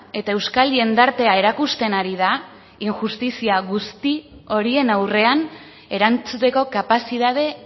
eta euskal jendartea erakusten ari da injustizia guzti horien aurrean erantzuteko kapazitate